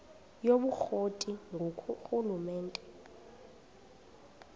yobukro ti ngurhulumente